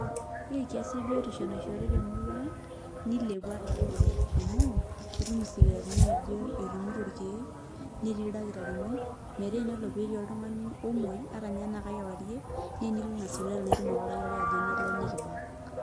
Ore enkias ebiotisho naishoori temurua ang, nilepua taatoi. Amuu, itum isipitalini ajo etumito irkeek, netii ildakitarini, metaa enelo petii oltung'ani omoi, atanye enaa kakewarie, ne enilo ina sipitali itum ake oldakitari ajo nele nikibak.